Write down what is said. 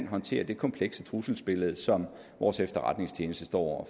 håndtere det komplekse trusselsbillede som vores efterretningstjeneste står